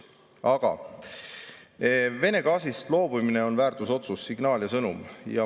Aga Vene gaasist loobumine on väärtusotsus, signaal ja sõnum.